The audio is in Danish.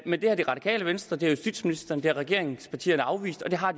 men det har det radikale venstre det har justitsministeren og regeringspartierne afvist og det har